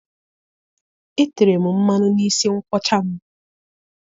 Etere m mmanụ n'isi nkwọcha m.